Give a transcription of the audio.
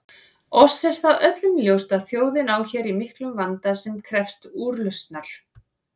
Oss er það öllum ljóst að þjóðin á hér í miklum vanda sem krefst úrlausnar.